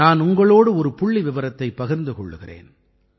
நான் உங்களோடு ஒரு புள்ளிவிவரத்தைப் பகிர்ந்து கொள்கிறேன்